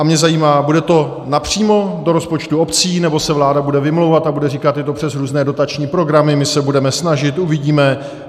A mě zajímá: bude to napřímo do rozpočtů obcí, nebo se vláda bude vymlouvat a bude říkat "je to přes různé dotační programy, my se budeme snažit, uvidíme"?